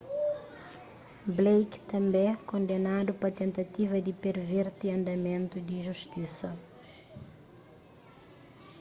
blake tanbê kondenadu pa tentativa di perverti andamentu di justisa